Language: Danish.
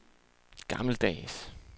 gammeldags